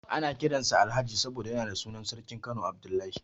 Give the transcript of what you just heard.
Ana kiran sa Alhaji saboda yana da sunan sarkin Kano Abdullahi.